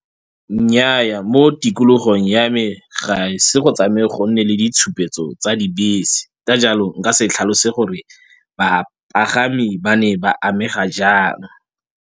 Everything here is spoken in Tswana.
Nnyaa, mo tikologong ya me ga ise go tsamaye go nne le ditshupetso tsa dibese. Ka jalo nka se tlhalose gore bapagami ba ne ba amega jang.